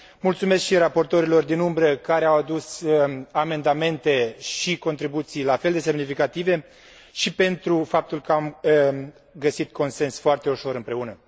Mulțumesc și raportorilor din umbră, care au adus amendamente și contribuții la fel de semnificative, și pentru faptul că am găsit consens foarte ușor împreună.